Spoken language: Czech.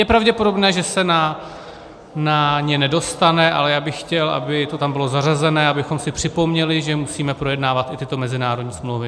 Je pravděpodobné, že se na ně nedostane, ale já bych chtěl, aby to tam bylo zařazeno, abychom si připomněli, že musíme projednávat i tyto mezinárodní smlouvy.